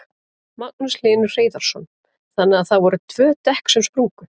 Magnús Hlynur Hreiðarsson: Þannig að það voru tvö dekk sem sprungu?